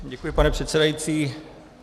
Děkuji, pane předsedající.